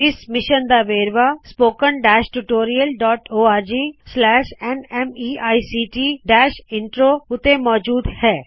ਇਸ ਮਿਸ਼ਨ ਦਾ ਵੇਰਵਾ ਅਤੇ ਸੂਚਨਾ spoken tutorialorgnmeict ਇੰਟਰੋ ਉੱਤੇ ਮੌਜੂਦ ਹੈ